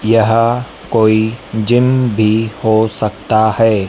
यह कोई जिम भी हो सकता है।